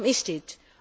Waarom is dit?